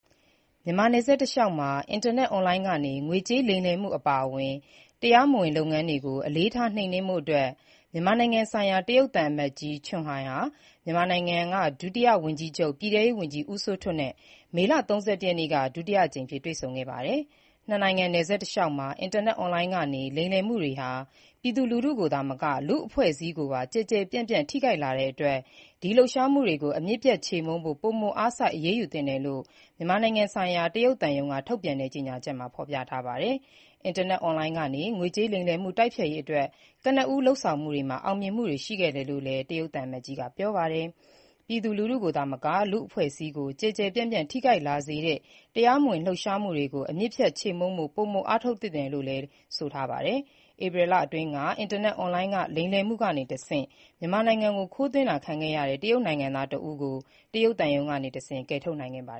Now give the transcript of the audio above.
မြန်မာ နယ်စပ်တလျှောက်မှာ အင်တာနက် Online ကနေ ငွေကြးလိမ်လည်မှု အပါအဝင် တရားမဝင် လုပ်ငန်းတွေကို အလေးထား နှိမ်နင်းရေး ဆွေးနွေးဖို့ မြန်မာနိုင်ငံဆိုင်ရာ တရုတ်သံအမတ်ကြီး Chen Hai ဟာ မြန်မာနိုင်ငံ ဒုတိယဝန်ကြီးချုပ်လည်းဖြစ်၊ ပြည်ထဲရေးဝန်ကြီးလည်းဖြစ်တဲ့ ဦးစိုးထွဋ်နဲ့ မေလ ၃၁ရက်နေ့က ဒုတိယအကြိမ် တွေ့ဆုံခဲ့ပါတယ်။ နှစ်နိုင်ငံနယ်စပ်တလျှောက်မှာ အင်တာနက် Online ကနေ လိမ်လည်မှုတွေဟာ ပြည်သူလူထုကိုသာမက လူ့အဖွဲ့အစည်းကိုပါ ကျယ်ကျယ်ပြန့်ပြန့် ထိခိုက်လာတဲ့အတွက် ဒီလှုပ်ရှားမှုတွေကို အမြစ်ပြတ်ချေမှုန်းဖို့ ပိုမိုအားစိုက် အရေးယူသင့်တယ်လို့ မြန်မာနိုင်ငံဆိုင်ရာ တရုတ်သံရုံးက ထုတ်ပြန်တဲ့ ကြေညာချက်မှာ ဖော်ပြထားပါတယ်။ အင်တာနက် Online ကနေ ငွေကြးလိမ်လည်မှု တိုက်ဖျက်ရေးအတွက် ကနဦးလုပ်ဆောင်မှုတွေမှာ အောင်မြင်မှုတွေရှိခဲ့တယ်လို့လည်း တရုတ် သံအမတ်ကြီးက ပြောပါတယ်။ ပြည်သူလူထုကိုသာမက လူ့အဖွဲ့အစည်းကို ကျယ်ကျယ်ပြန့်ပြန့် ထိခိုက်လာစေတဲ့ တရားမဝင်လှုပ်ရှားမှုတွေကို အမြစ်ပြတ်ချေမှုန်းဖို့ ပိုမိုအားထုတ်ဖို့လိုတယ်လို့လည်း ဆိုပါတယ်။ ပြီးခဲ့တဲ့ ဧပြီလအတွင်းကလည်း အင်တာနက် Online လိမ်လည်မှုကတဆင့် မြန်မာနိုင်ငံကို ခိုးသွင်းတာခံခဲ့ရတဲ့ တရုတ်နိုင်ငံသားတစ်ဦးကို တရုတ်သံရုံးကနေတဆင့် ကယ်တင်နိုင်ခဲ့ပါ